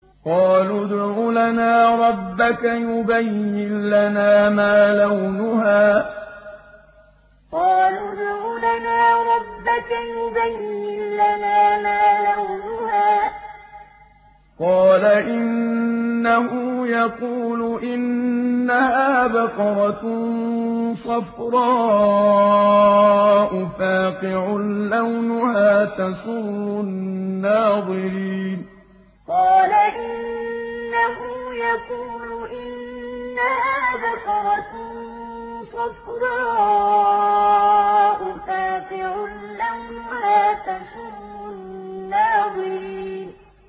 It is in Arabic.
قَالُوا ادْعُ لَنَا رَبَّكَ يُبَيِّن لَّنَا مَا لَوْنُهَا ۚ قَالَ إِنَّهُ يَقُولُ إِنَّهَا بَقَرَةٌ صَفْرَاءُ فَاقِعٌ لَّوْنُهَا تَسُرُّ النَّاظِرِينَ قَالُوا ادْعُ لَنَا رَبَّكَ يُبَيِّن لَّنَا مَا لَوْنُهَا ۚ قَالَ إِنَّهُ يَقُولُ إِنَّهَا بَقَرَةٌ صَفْرَاءُ فَاقِعٌ لَّوْنُهَا تَسُرُّ النَّاظِرِينَ